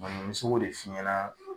me se k'o de f'i ɲɛna